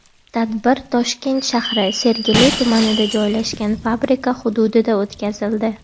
Tadbir Toshkent shahri Sergeli tumanida joylashgan fabrika hududida o‘tkazildi.